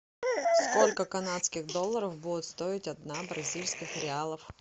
сколько канадских долларов будет стоить одна бразильских реалов